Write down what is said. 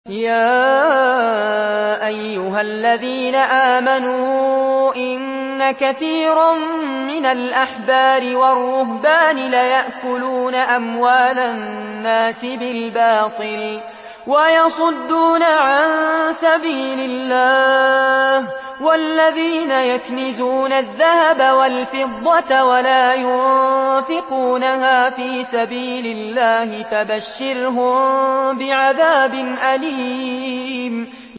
۞ يَا أَيُّهَا الَّذِينَ آمَنُوا إِنَّ كَثِيرًا مِّنَ الْأَحْبَارِ وَالرُّهْبَانِ لَيَأْكُلُونَ أَمْوَالَ النَّاسِ بِالْبَاطِلِ وَيَصُدُّونَ عَن سَبِيلِ اللَّهِ ۗ وَالَّذِينَ يَكْنِزُونَ الذَّهَبَ وَالْفِضَّةَ وَلَا يُنفِقُونَهَا فِي سَبِيلِ اللَّهِ فَبَشِّرْهُم بِعَذَابٍ أَلِيمٍ